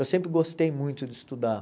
Eu sempre gostei muito de estudar.